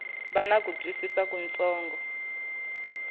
va na ku twisisa kutsongo